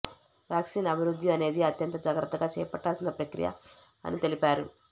vaccine అభివృద్ధి అనేది అత్యంత జాగ్రత్తగా చేపట్టాల్సిన ప్రక్రియ అని తెలిపారు